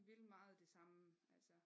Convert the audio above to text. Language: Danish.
Vi vil meget det samme altså